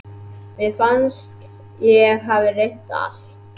Mér fannst ég hafa reynt allt.